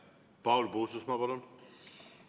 Paul Puustusmaa, palun!